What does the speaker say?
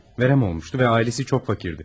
Verem olmuştu ve ailesi çok fakirdi.